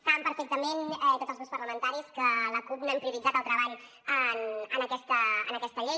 saben perfectament tots els grups parlamentaris que la cup no hem prioritzat el treball en aquesta llei